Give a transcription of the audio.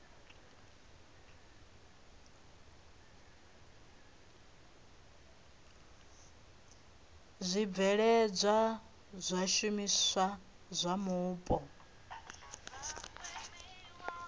zwibveledzwa zwa zwishumiswa zwa mupo